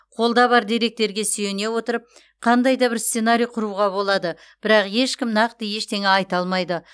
қолда бар деректерге сүйене отырып қандай да бір сценарий құруға болады бірақ ешкім нақты ештеңе айта алмайды